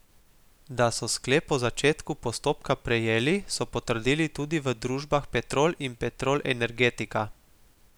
Da so sklep o začetku postopka prejeli, so potrdili tudi v družbah Petrol in Petrol Energetika.